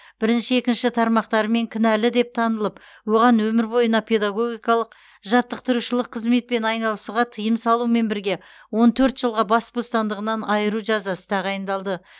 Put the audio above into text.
бірінші екінші тармақтарымен кінәлі деп танылып оған өмір бойына педагогикалық жаттықтырушылық қызметпен айналысуға тыйым салумен бірге жылға бас бостандығынан айыру жазасы тағайындалды